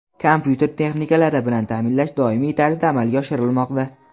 kompyuter texnikalari bilan ta’minlash doimiy tarzda amalga oshirilmoqda.